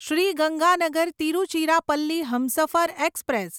Shri Ganganagar Tiruchirappalli Humsafar express